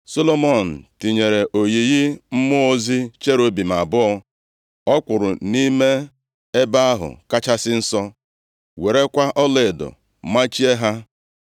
Solomọn tinyere oyiyi mmụọ ozi cherubim abụọ ọ kpụrụ nʼime Ebe ahụ Kachasị Nsọ, werekwa ọlaedo machie ha.